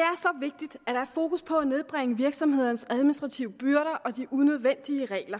er er fokus på at nedbringe virksomhedernes administrative byrder og de unødvendige regler